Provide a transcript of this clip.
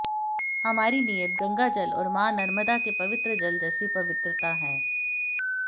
हमारी नीयत गंगाजल और मां नर्मदा के पवित्र जल जैसी पवित्रता है